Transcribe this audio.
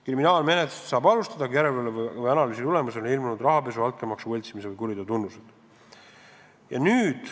Kriminaalmenetlust saab alustada, kui järelevalve või analüüsi tulemusel on ilmnenud näiteks rahapesus, altkäemaksus või võltsimises seisnenud kuriteo tunnused.